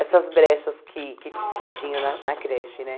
essas brechas que que que tinha na na creche né.